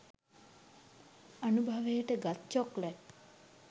අනුභවයට ගත් චොක්ලට්